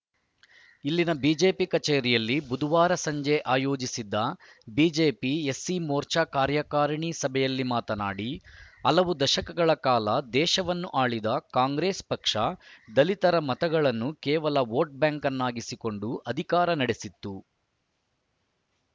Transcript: ಇಲ್ಲಿನ ಬಿಜೆಪಿ ಕಚೇರಿಯಲ್ಲಿ ಬುಧವಾರ ಸಂಜೆ ಆಯೋಜಿಸಿದ್ದ ಬಿಜೆಪಿ ಎಸ್ಸಿ ಮೋರ್ಚಾ ಕಾರ್ಯಕಾರಣಿ ಸಭೆಯಲ್ಲಿ ಮಾತನಾಡಿ ಹಲವು ದಶಕಗಳ ಕಾಲ ದೇಶವನ್ನು ಆಳಿದ ಕಾಂಗ್ರೆಸ್‌ ಪಕ್ಷ ದಲಿತರ ಮತಗಳನ್ನು ಕೇವಲ ಓಟ್‌ ಬ್ಯಾಂಕನ್ನಾಗಿಸಿಕೊಂಡು ಅಧಿಕಾರ ನಡೆಸಿತ್ತು